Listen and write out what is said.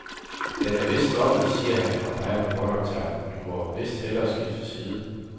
Den er vist stoppet, siger han og peger på båndoptageren, du må vist hellere skifte side.